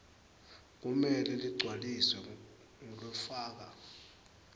kumele ligcwaliswe ngulofaka